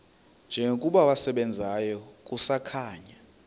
njengokuba wasebenzayo kusakhanya